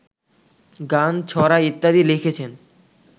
গান, ছড়া ইত্যাদি লিখেছেন